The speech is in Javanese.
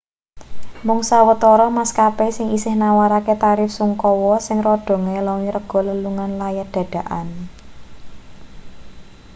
mung sawetara maskapai sing isih nawarake tarif sungkawa sing rada ngelongi rega lelungan layat dadakan